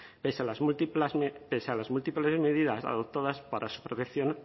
pese a las múltiples medidas adoptadas para su protección